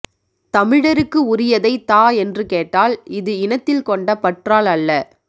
தமிழருக்கு உரியதை தா என்று கேட்டால் இது இனத்தில் கொண்ட பற்றால் அல்ல